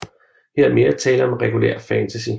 Her er mere tale om regulær fantasy